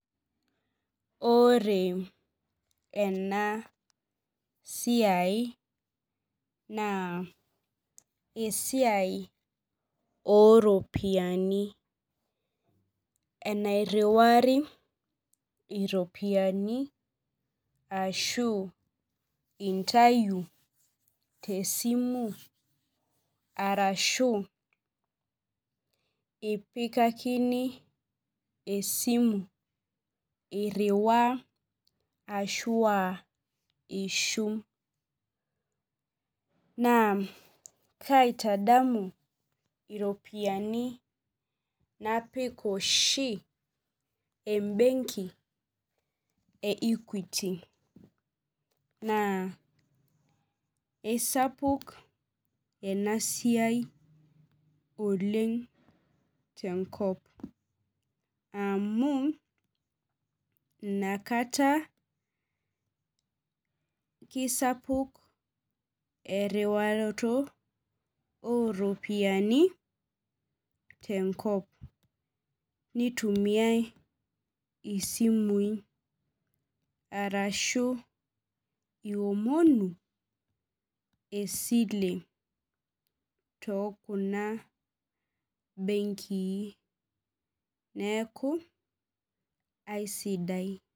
Ore ena siai na esiai oropiyiani nairiwari ropiyani imtau tesimu arashu iputakini esimu ashu apikakini esimu iriwaa ashu aa ishum naa kaitadamu ropiyani napik oshi embenki e equity na isapuk enasia oleng tenkop aang amu inakata kisapuk eriwaroto oropiyiani tenkop itumiai isumui ashu esimu tokuna benkii neaku aisidai